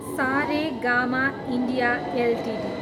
Saregama India Ltd